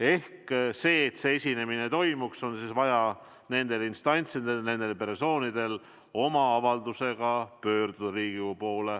Ehk selleks, et esinemine toimuks, on vaja nendel instantsidel või nendel persoonidel oma avaldusega pöörduda Riigikogu poole.